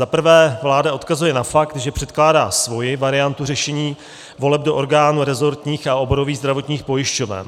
Za prvé, vláda odkazuje na fakt, že předkládá svoji variantu řešení voleb do orgánů rezortních a oborových zdravotních pojišťoven.